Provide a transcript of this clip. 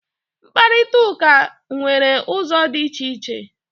mkparịta ụka nwere ụzọ dị iche iche